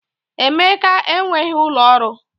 Emeka enweghị ụlọ ọrụ